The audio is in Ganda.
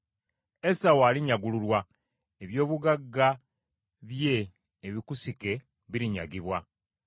Esawu alinyagulurwa, eby’obugagga bye ebikusike birinyagibwa.